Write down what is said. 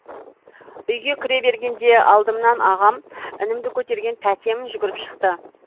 үйге кіре бергенде алдымнан ағам інімді көтерген тәтем жүгіріп шықты